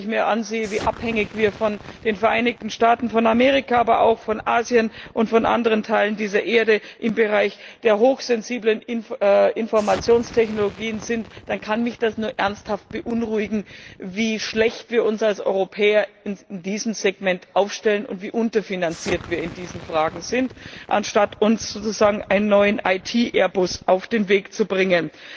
Und wenn ich mir ansehe, wie abhängig wir von den Vereinigten Staaten von Amerika, aber auch von Asien und von anderen Teilen dieser Erde im Bereich der hochsensiblen Informationstechnologien sind, dann beunruhigt es mich ernsthaft, wie schlecht wir uns als Europäer in diesem Segment aufstellen, und wie unterfinanziert wir in diesen Fragen sind, anstatt sozusagen einen neuen IT Airbus auf den Weg zu bringen.